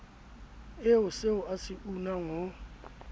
ie seoa se unang ho